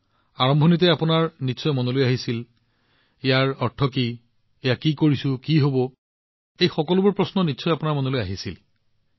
আৰম্ভণিতে মানুহে কি কৈছিল তেতিয়া নিশ্চয় আপোনাৰ মনলৈ আহিছিল ইয়াৰ অৰ্থ কি আপুনি কি কৰি আছে কি হব বিদ্যুৎ কেনেকৈ এনেদৰে আহিব পাৰে এই সকলোবোৰ বস্তু আপোনাৰ মনলৈ আহিছিল